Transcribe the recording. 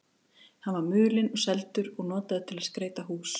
Hann var mulinn og seldur og notaður til að skreyta hús.